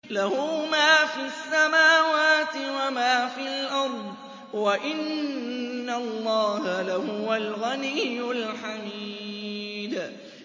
لَّهُ مَا فِي السَّمَاوَاتِ وَمَا فِي الْأَرْضِ ۗ وَإِنَّ اللَّهَ لَهُوَ الْغَنِيُّ الْحَمِيدُ